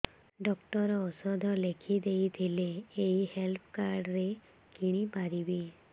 doctor ଔଷଧ ଲେଖିଦେଇଥିଲେ ଏଇ ହେଲ୍ଥ କାର୍ଡ ରେ କିଣିପାରିବି